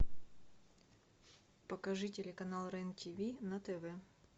покажи телеканал рен тиви на тв